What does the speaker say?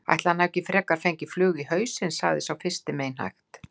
Ætli hann hafi ekki frekar fengið flugu í hausinn sagði sá fyrsti meinhægt.